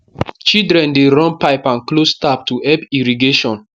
children dey run pipe and close tap to help irrigation